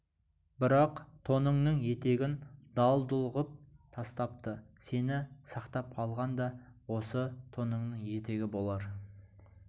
бірақ тоныңның етегін дал-дұл ғып тастапты сені сақтап қалған да осы тоныңның етегі болар